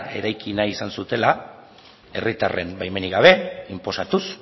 eraiki nahi izan zutela herritarren baimenik gabe inposatuz